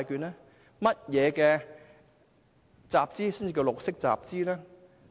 甚麼集資才是綠色集資？